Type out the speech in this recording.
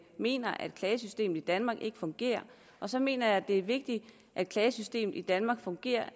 mener at klagesystemet i danmark ikke fungerer og så mener jeg at det er vigtigt at klagesystemet i danmark fungerer